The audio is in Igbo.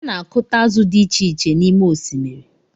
A na akuta azụ dị icheiche n’ime osimiri